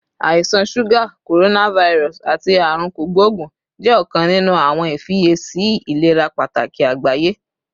Àisan suga, coronavirus, ati Aarun Kogbogun jẹ ọkan ninu awọn ifiyesi ilera pataki agbaye